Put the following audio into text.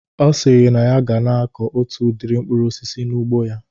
Ọ sịrị na ya ga na-akọ otu udiri mkpụrụ osisi n'ugbo ya